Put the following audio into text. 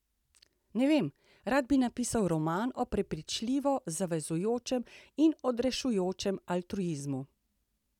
Ne vem, rad bi napisal roman o prepričljivo zavezujočem in odrešujočem altruizmu.